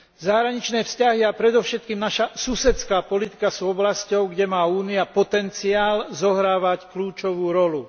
Zahraničné vzťahy a predovšetkým naša susedská politika sú oblasťou, kde má Únia potenciál zohrávať kľúčovú rolu.